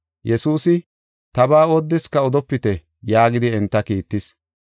Yesuusi, “Tabaa oodeska odopite” yaagidi enta kiittis.